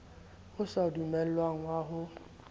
o sa dumellwang wa ho